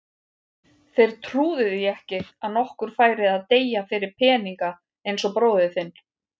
Þeir trúðu því ekki að nokkur færi að deyja fyrir peninga eins og bróðir þinn.